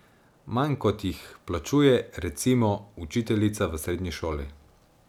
Manj, kot jih plačuje, recimo, učiteljica v srednji šoli.